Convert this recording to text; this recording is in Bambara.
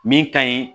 Min ka ɲi